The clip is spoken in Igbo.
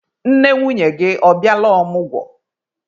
Nne nwunye gị ọ bịala ọmụgwọ?